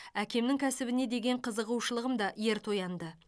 әкемнің кәсібіне деген қызығушылығым да ерте оянды